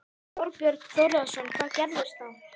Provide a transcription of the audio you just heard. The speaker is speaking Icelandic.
Þorbjörn Þórðarson: Hvað gerist þá?